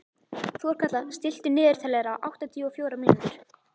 Þorkatla, stilltu niðurteljara á áttatíu og fjórar mínútur.